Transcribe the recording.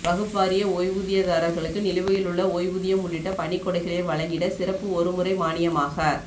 வக்ப் வாரிய ஓய்வூதியதாரர்களுக்கு நிலுவையிலுள்ள ஓய்வூதியம் உள்ளிட்ட பணிக்கொடைகளை வழங்கிட சிறப்பு ஒரு முறை மானியமாக